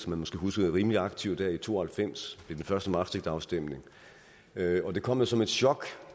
man måske husker selv rimelig aktiv der i nitten to og halvfems ved den første maastrichtafstemning og det kom da som et chok